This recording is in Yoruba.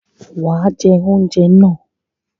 Wàá jẹ oúnjẹ náà